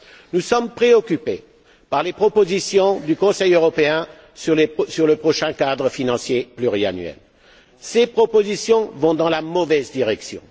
Nous sommes préoccupés pas les propositions du Conseil européen sur le prochain cadre financier pluriannuel. Ces propositions vont dans la mauvaise direction.